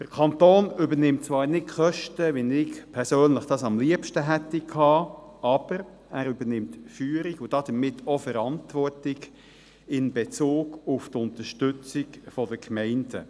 Der Kanton übernimmt zwar nicht Kosten, wie ich es persönlich am liebsten gehabt hätte, er übernimmt aber Führung und damit auch Verantwortung in Bezug auf die Unterstützung der Gemeinden.